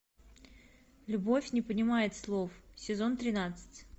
любовь не понимает слов сезон тринадцать